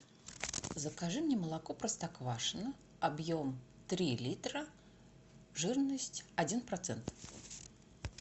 закажи мне молоко простоквашино объем три литра жирность один процент